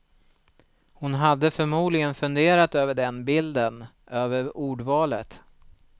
Hon hade förmodligen funderat över den bilden, över ordvalet.